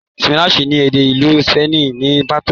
ṣípánísì ni èdè ìlú sípènì ní pàtó.